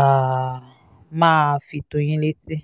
um máa fi tó yín létí